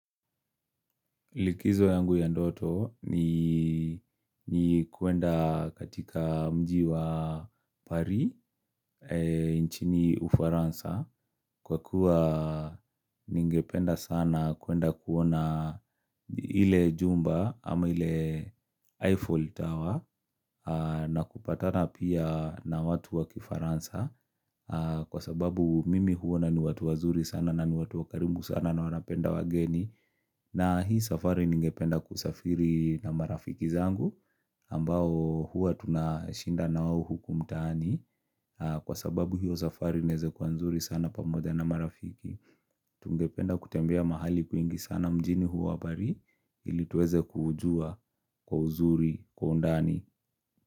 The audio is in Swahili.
Likizo yangu ya ndoto ni kuenda katika mji wa Paris nchini Ufaransa kwa kuwa ningependa sana kuenda kuona ile jumba ama ile Eiffel Tower na kupatana pia na watu wakifaransa, Kwa sababu mimi huona ni watu wazuri sana na ni watu wakarimu sana na wanapenda wageni na hii safari ningependa kusafiri na marafiki zangu ambao huwa tunashinda na wao huku mtaani, Kwa sababu hiyo safari inaweza kuwa nzuri sana pamoja na marafiki. Tungependa kutembea mahali kwingi sana mjini huo wa Paris ili tuweze kuujua kwa uzuri kwa undani.